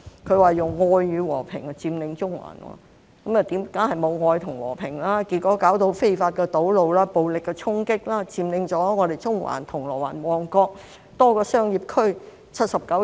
他說用愛與和平佔中環，當然沒有愛與和平，結果變成非法堵路、暴力衝擊，佔領了中環、銅鑼灣和旺角多個商業區79天。